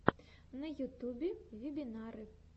на ютубе вебинары